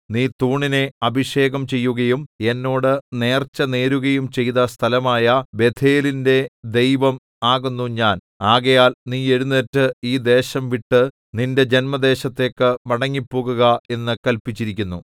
നീ തൂണിനെ അഭിഷേകം ചെയ്യുകയും എന്നോട് നേർച്ചനേരുകയും ചെയ്ത സ്ഥലമായ ബേഥേലിന്റെ ദൈവം ആകുന്നു ഞാൻ ആകയാൽ നീ എഴുന്നേറ്റ് ഈ ദേശംവിട്ട് നിന്റെ ജന്മദേശത്തേക്കു മടങ്ങിപ്പോകുക എന്നു കല്പിച്ചിരിക്കുന്നു